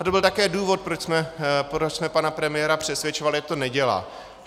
A to byl také důvod, proč jsme pana premiéra přesvědčovali, ať to nedělá.